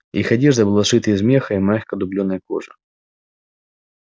их одежда была сшита из меха и мягкой дублёной кожи